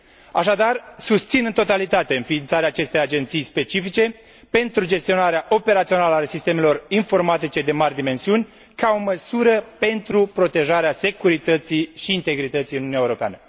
Așadar, susțin în totalitate înființarea acestei agenții specifice pentru gestionarea operațională a sistemelor informatice de mari dimensiuni, ca o măsură pentru protejarea securității și integrității în Uniunea Europeană.